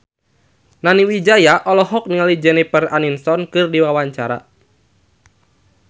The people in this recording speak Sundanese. Nani Wijaya olohok ningali Jennifer Aniston keur diwawancara